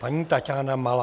Paní Taťána Malá.